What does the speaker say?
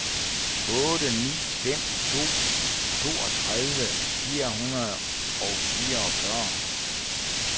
otte ni fem to toogtredive fire hundrede og fireogfyrre